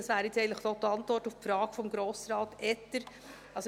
Das wäre jetzt eigentlich auch die Antwort auf die Frage von Grossrat Etter.